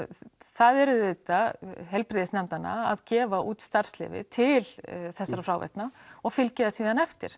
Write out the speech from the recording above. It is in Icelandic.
það er auðvitað heilbrigðisnefndanna að gefa út starfsleyfi til þessara fráveita og fylgja því síðan eftir